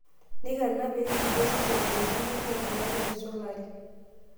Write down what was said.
Neiko ena pee emitiki osesen enkiurrur neeku misulari.